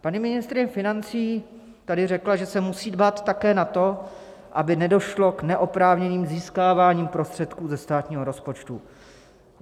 Paní ministryně financí tady řekla, že se musí dbát také na to, aby nedošlo k neoprávněnému získávání prostředků ze státního rozpočtu.